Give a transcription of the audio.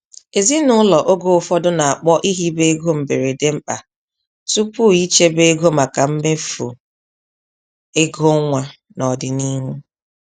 Ezinụlọ oge ụfọdụ na-akpọ ihibe ego mberede mkpa tupu ichebe ego maka mmefu ego nwa n'ọdịnihu.